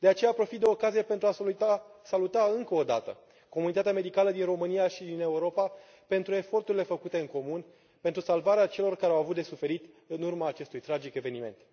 Profit de ocazie pentru a saluta încă o dată comunitatea medicală din România și din Europa pentru eforturile făcute în comun pentru salvarea celor care au avut de suferit în urma acestui tragic eveniment.